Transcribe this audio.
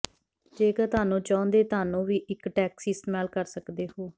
ਜੇਕਰ ਤੁਹਾਨੂੰ ਚਾਹੁੰਦੇ ਤੁਹਾਨੂੰ ਵੀ ਇੱਕ ਟੈਕਸੀ ਇਸਤੇਮਾਲ ਕਰ ਸਕਦੇ ਹੋ